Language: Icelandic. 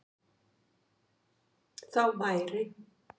Þá væri